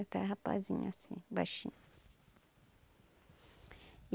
Até rapazinho assim, baixinho.